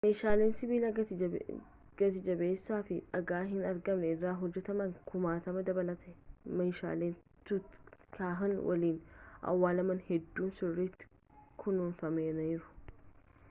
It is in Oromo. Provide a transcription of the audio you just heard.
meeshaalee sibiila gati-jabeessaa fi dhagaa hin argamne irra hojjetaman kumaatama dabalatee meeshaaleen tutankhamun waliin awwaalaman hedduun sirritti kunuunfamaniiru